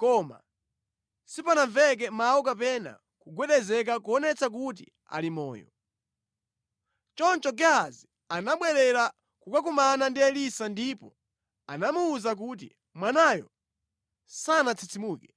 koma sipanamveke mawu kapena kugwedezeka kuonetsa kuti ali moyo. Choncho Gehazi anabwerera kukakumana ndi Elisa ndipo anamuwuza kuti, “Mwanayo sanatsitsimuke.”